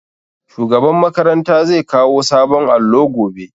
Shugaban makaranta zai kawo sabon allo gobe